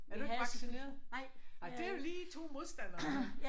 Er du ikke vaccineret? Ej det er jo lige 2 modstandere her